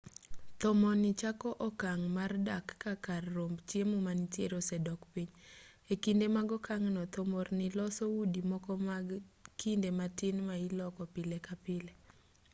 thomorni chako okang' mar dar ka kar romb chiemo manitiere osedok piny e kinde mag okang'no thomorni loso udi moko mag kinde matin ma iloko pile ka pile